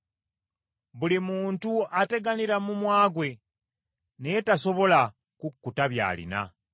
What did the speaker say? Buli muntu ateganira mumwa gwe, naye tasobola kukkuta by’alina.